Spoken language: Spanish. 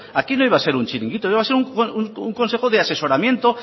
aquí no iba a ser un chiringuito iba a ser un consejo de asesoramiento